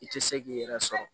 I tɛ se k'i yɛrɛ sɔrɔ